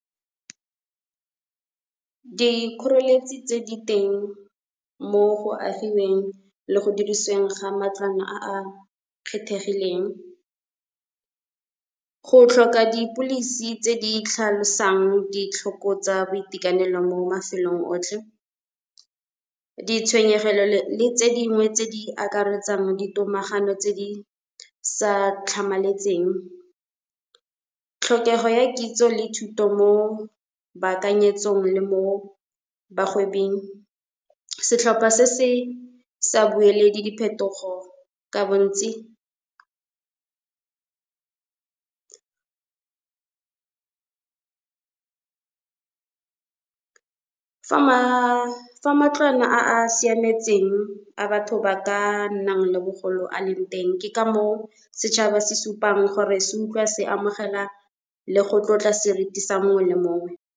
Dikgoreletsi tse di teng mo go agiweng le go dirisiweng ga matlwana a a kgethegileng. Go tlhoka dipilisi tse di tlhalosang ditlhoko tsa boitekanelo mo mafelong otlhe, ditshwenyegelo tse dingwe tse di akaretsang di tomagano tse di sa tlhamaletseng. Tlhokego ya kitso le thuto mo baakanyetsong le mo bagwebing setlhopha se se sa bueledi diphetogo ka bontsi. Fa matlwana a siametseng a batho ba ka nnang le bogolo a leng teng, ke ka moo setšhaba se supang gore se utlwa se amogela le go tlotla seriti sa mongwe le mongwe.